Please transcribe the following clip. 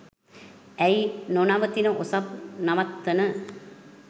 ඇයි නොනවතින ඔසප් නවත්තන